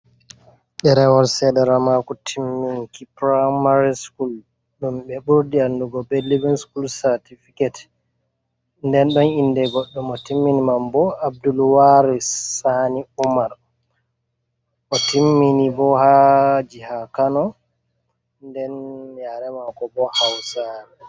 Ɗerewol Sederammaku timminki Puramari. Sukul ɗum ɓe ɓurdi andugo be Livin Sukul Satifiket, nden ɗon inde Godɗo mo timmin man bo Abdullwari Sani Umar. Otimmini bo ha jiha Kano nden yare mako bo hausari.